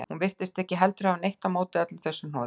Hún virtist heldur ekki hafa neitt á móti öllu þessu hnoði.